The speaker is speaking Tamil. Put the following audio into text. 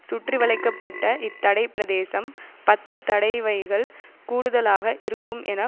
சுற்றிவளைக்க பட்ட இத்தடைப்பிரதேசம் பத்து தடைவைகள் கூடுதலாக இருக்கும் என